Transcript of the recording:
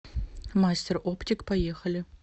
мастер оптик поехали